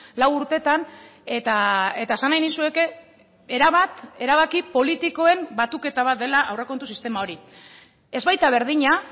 lau urtetan eta esan nahi nizueke erabat erabaki politikoen batuketa bat dela aurrekontu sistema hori ez baita berdina